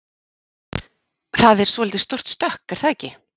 Það er svolítið stórt stökk er það ekki?